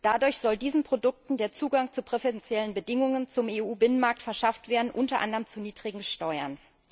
Dadurch soll diesen Produkten der Zugang zu präferenziellen Bedingungen zum EU Binnenmarkt verschafft werden, unter anderem zu niedrigen Steuern.